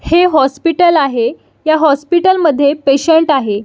हे हॉस्पिटल आहे ह्या हॉस्पिटल मध्ये पेशंट आहे.